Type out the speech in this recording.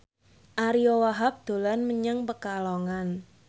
Ariyo Wahab dolan menyang Pekalongan